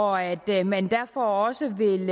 og at at man derfor også vil